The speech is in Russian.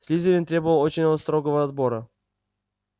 слизерин требовал очень строгого отбора